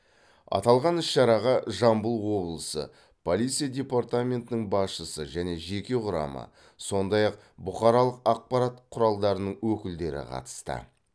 аталған іс шараға жамбыл облысы полиция департаментінің басшысы және жеке құрамы сондай ақ бұқаралық ақпарат құралдарының өкілдері қатысты